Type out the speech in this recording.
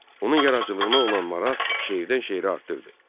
Onun yaradıcılığına olan maraq şeirdən şeirə artırdı.